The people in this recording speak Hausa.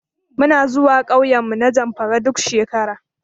Muna zuwa ƙauyenmu na Zamfara duk shekara.